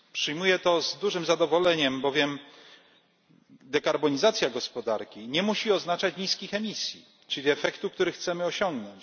Przyjmuję to z dużym zadowoleniem, bowiem dekarbonizacja gospodarki nie musi oznaczać niskich emisji, czyli efektu, który chcemy osiągnąć.